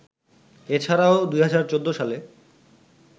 এ ছাড়াও ২০১৪ সালে